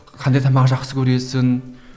қандай тамақ жақсы көресің